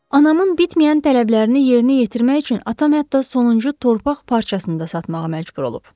Anamın bitməyən tələblərini yerinə yetirmək üçün atam hətta sonuncu torpaq parçasını da satmağa məcbur olub.